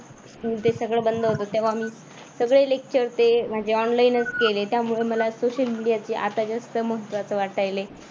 ते सगळं बंद होतं तेव्हा आम्ही सगळे lecture ते माझे online च केले त्यामुळे मला social media ची आता जास्त महत्त्वाचं वाटायलय.